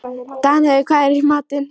Danheiður, hvað er í matinn?